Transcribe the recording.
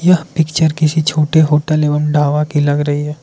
Picture किसी छोटे hotel एवं ढाबा की लग रही है।